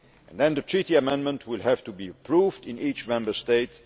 Then, the Treaty amendment will have to be approved in each Member State.